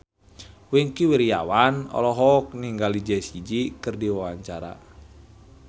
Wingky Wiryawan olohok ningali Jessie J keur diwawancara